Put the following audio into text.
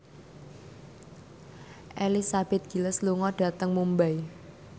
Elizabeth Gillies lunga dhateng Mumbai